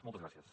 moltes gràcies